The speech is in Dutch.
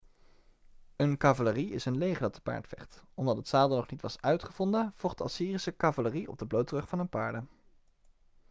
een cavalerie is een leger dat te paard vecht omdat het zadel nog niet was uitgevonden vocht de assyrische cavalerie op de blote rug van hun paarden